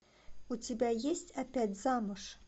у тебя есть опять замуж